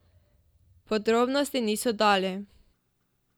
Podrobnosti niso dali.